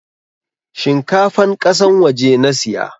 Shinkafan kasan waje nasiya